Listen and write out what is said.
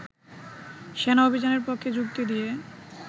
সেনা অভিযানের পক্ষে যুক্তি দিয়ে